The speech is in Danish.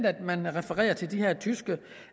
at man refererer til de her tyske